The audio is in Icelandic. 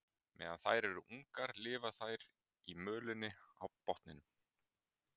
Meðan þær eru ungar lifa þær í mölinni á botninum.